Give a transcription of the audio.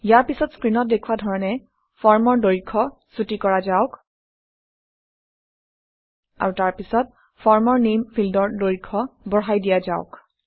ইয়াৰ পিছত স্ক্ৰীনত দেখুওৱা ধৰণে ফৰ্মৰ দৈৰ্ঘ্য চুটি কৰা যাওক আৰু তাৰপিছত ফৰ্মৰ নেম ফিল্ডৰ দৈৰ্ঘ্য বঢ়াই দিয়া যাওক